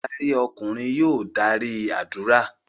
Adarí ọkùnrin yóò darí ádùrá.